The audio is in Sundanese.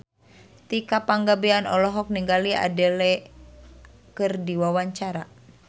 Tika Pangabean olohok ningali Adele keur diwawancara